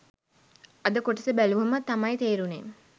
අද කොටස බැලුවම තමයි තේරුනේ